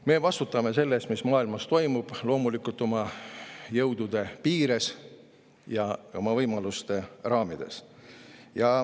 Me vastutame selle eest, mis maailmas toimub, loomulikult oma jõudude piires ja oma võimaluste raamides.